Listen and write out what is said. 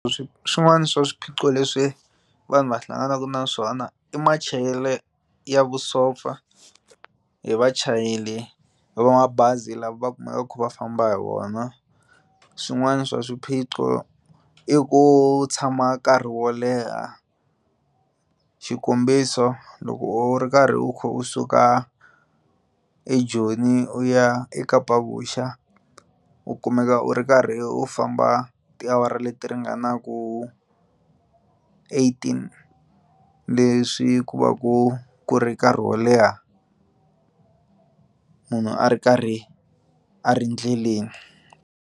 swin'wana swa swiphiqo leswi vanhu va hlanganaka na swona i machayelelo ya vusopfa hi vachayeri va mabazi lava va kumekaku va kha va famba hi wona swin'wana swa swiphiqo i ku tshama nkarhi wo leha xikombiso loko u ri karhi u kha u suka eJoni u ya eKapavuxa u kumeka u ri karhi u famba tiawara leti ringanaku eighteen leswi ku va ku ku ri nkarhi wo leha munhu a ri karhi a ri endleleni.